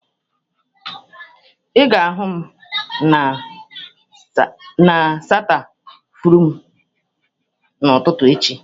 Ị ga-ahụ m n'stafurum n'ụtụtụ echi.